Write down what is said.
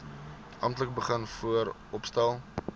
amptelik begin vooropstel